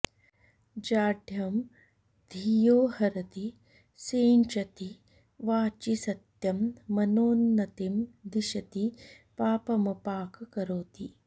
जाढ्यं धियो हरति सिञ्चति वाचि सत्यं मानोन्नतिं दिशति पापमपाकरोति